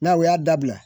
N'aw y'a dabila